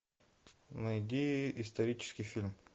найди исторический фильм